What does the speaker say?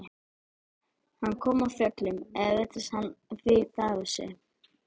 Kom hann af fjöllum eða virtist hann vita af þessu?